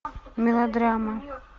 мелодрама